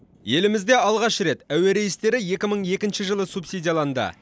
елімізде алғаш рет әуе рейстері екі мың екінші жылы субсидияланды